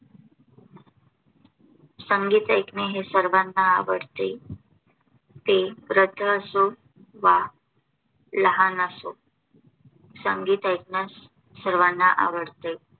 संगीत ऐकणे हे सर्वंना आवडते. ते वृद्ध असो वा लाहान असो संगीत ऐकण्यास सर्वांना आवडते.